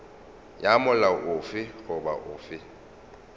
ya molao ofe goba ofe